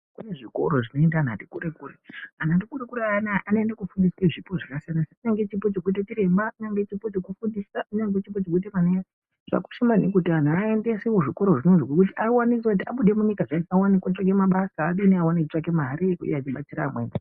Kune zvikora zvinoenda anhu ati kure kure, anhu ati kure kure ayani anoende kofundiswe zvipo zvakasiyana siyana. Kunyange chipo chekuite chiremba, kunyangwe chekufundisa, kunyangwe chipo chekuite manesi. Zvakakosha maningi kuti anhu aendeswe kuzvikora zvona izvo ngekuti awanenzira kuti abude munyika zviyani awone kotsvake abasa awone mare yebutsira amweni.